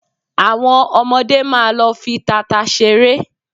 Àwọn ọmọdé máa lọ fi tata ṣeré